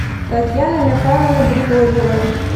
татьяны михайловны григорьевой